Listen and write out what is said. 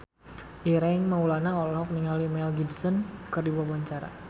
Ireng Maulana olohok ningali Mel Gibson keur diwawancara